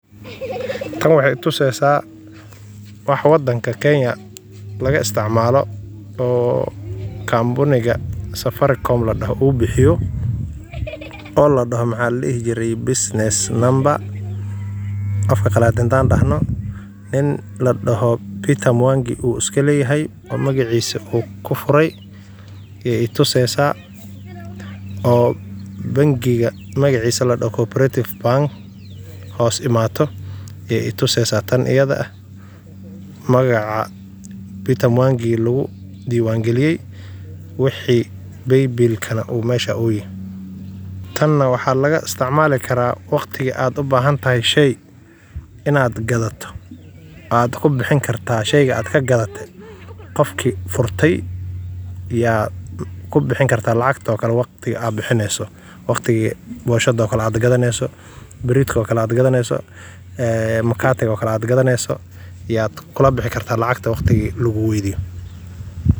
Waa adeeg lacag-bixin oo casri ah oo ay bixiso shirkadda Safaricom ee Kenya, kaas oo u suurtageliya dadka inay si fudud oo ammaan ah ugu bixiyaan lacag adeegyo kala duwan iyo badeecooyin iyagoo isticmaalaya taleefankooda gacanta. Adeegan wuxuu noqday mid caan ah maadaama uu ka dhigay habka lacag-bixinta mid degdeg ah, raaxo leh, isla markaana aan u baahnayn in qofku xambaarsado lacag caddaan ah, waxay si gaar ah muhiim ugu tahay ganacsatada yar-yar, dukaamada, iyo adeeg bixiyeyaasha, maadaama ay u fududeyso.